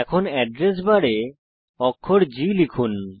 এখন এড্রেস বারে অক্ষর G লিখুন